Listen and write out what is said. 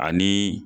Ani